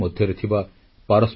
ମୋର ପ୍ରିୟ ଦେଶବାସୀଗଣ ନମସ୍କାର